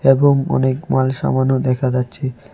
এবং অনেক মাল সামানও দেখা যাচ্ছে।